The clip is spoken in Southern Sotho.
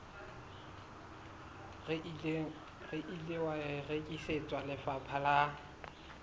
ile wa rekisetswa lefapha la